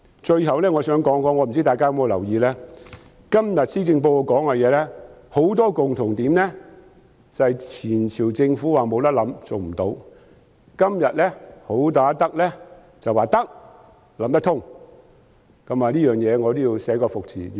最後，不知大家有否留意，今天施政報告提出的很多政策有一共同點，就是前朝政府說"無辦法、行不通"的，今天"好打得"則說"得，有辦法"，我對此要寫個"服"字。